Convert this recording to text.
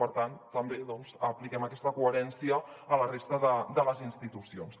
per tant també doncs apliquem aquesta coherència a la resta de les institucions